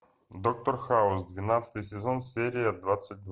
доктор хаус двенадцатый сезон серия двадцать два